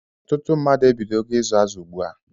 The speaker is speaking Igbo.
Ọtụtụ mmadụ ebidogo ịzụ azụ ugbua